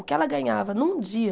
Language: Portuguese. O que ela ganhava num dia...